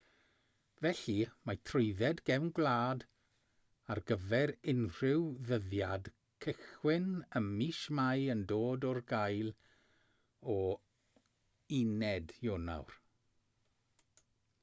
felly mae trwydded gefn gwlad ar gyfer unrhyw ddyddiad cychwyn ym mis mai yn dod ar gael o 1 ionawr